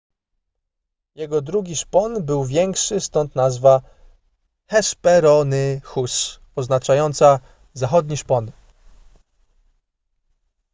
jego drugi szpon był większy stąd nazwa hesperonychus oznaczająca zachodni szpon